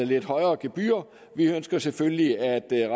lidt højere gebyrer vi ønsker selvfølgelig at